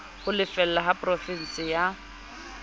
ho lefela ba porofeshene ya